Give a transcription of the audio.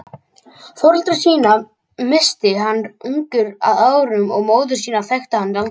Foreldra sína missti hann ungur að árum og móður sína þekkti hann aldrei.